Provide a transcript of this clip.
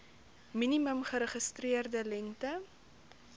minimum geregistreerde lengte